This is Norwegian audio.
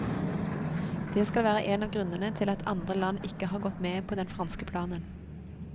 Det skal være en av grunnene til at andre land ikke har gått med på den franske planen.